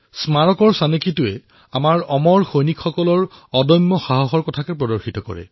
স্মাৰকৰ ডিজাইনে আমাৰ অমৰ সৈনিকৰ অদম্য সাহসক প্ৰদৰ্শিত কৰে